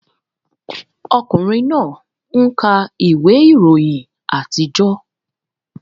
Ọkùnrin náà ń ka ìwé ìròyìn àtijọ́